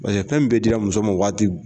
Bayɛ fɛn min bɛɛ dila muso ma waati